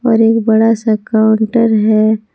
और एक बड़ा सा काउंटर है।